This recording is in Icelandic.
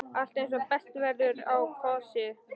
Allt er eins og best verður á kosið.